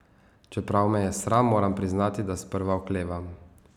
Čeprav me je sram, moram priznati, da sprva oklevam.